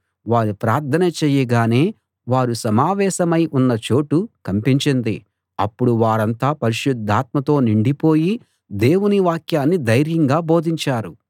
వారు ప్రార్థన చేయగానే వారు సమావేశమై ఉన్న చోటు కంపించింది అప్పుడు వారంతా పరిశుద్ధాత్మతో నిండిపోయి దేవుని వాక్యాన్ని ధైర్యంగా బోధించారు